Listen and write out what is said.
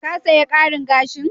Ka saya karin gashin?